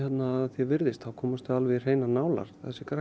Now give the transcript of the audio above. því er virðist komast þau alveg í hreinar nálar